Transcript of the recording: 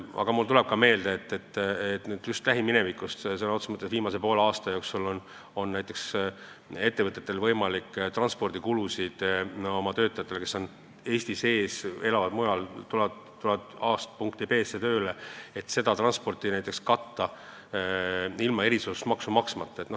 Aga mul tuleb ka meelde lähiminevikust, et viimase poole aasta jooksul on näiteks ettevõtetel võimalik katta transpordikulusid oma töötajatele, kes on Eestis, aga elavad mujal ja tulevad tööle punktist A punkti B, ilma erisoodustusmaksu maksmata.